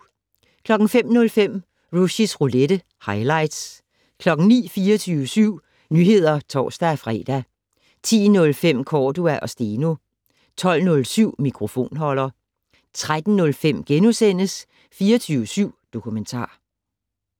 05:05: Rushys roulette - highlights 09:00: 24syv Nyheder (tor-fre) 10:05: Cordua & Steno 12:07: Mikrofonholder 13:05: 24syv Dokumentar *